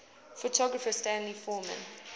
photographer stanley forman